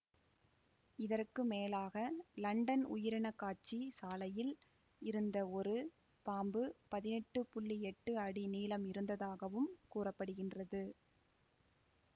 இதற்கு மேலாக லண்டன் உயிரினக்காட்சி சாலையில் இருந்த ஒரு பாம்பு பதினெட்டு புள்ளி எட்டு அடி நீளம் இருந்ததாகவும் கூற படுகின்றது